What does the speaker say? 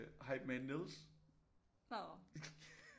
Hypeman Niels